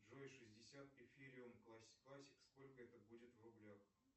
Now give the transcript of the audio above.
джой шестьдесят эфириум классик сколько это будет в рублях